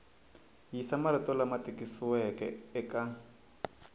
yisa marito lama tikisiweke eka